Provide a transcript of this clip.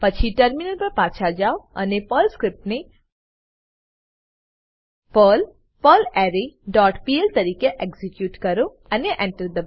પછી ટર્મિનલ પર પાછા જાવો અને પર્લ સ્ક્રીપ્ટને પર્લ પર્લરે ડોટ પીએલ તરીકે એક્ઝીક્યુટ કરો અને Enter